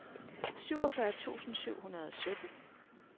syvogfyrre tusind syv hundrede og sytten